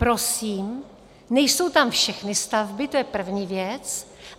Prosím, nejsou tam všechny stavby, to je první věc.